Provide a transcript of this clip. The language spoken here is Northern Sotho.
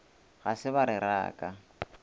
ga se ba re raka